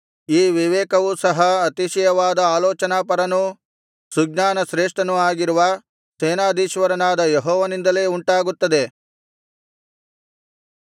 ಈ ವಿವೇಕವು ಸಹ ಅತಿಶಯವಾದ ಆಲೋಚನಾಪರನೂ ಸುಜ್ಞಾನ ಶ್ರೇಷ್ಠನೂ ಆಗಿರುವ ಸೇನಾಧೀಶ್ವರನಾದ ಯೆಹೋವನಿಂದಲೇ ಉಂಟಾಗುತ್ತದೆ